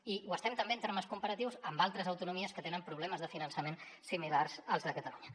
i ho estem també en termes comparatius amb altres autonomies que tenen problemes de finançament similars als de catalunya